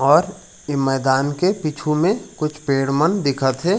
और ये मैदान के पीछू में कुछ पेड़ मन दिखत हे।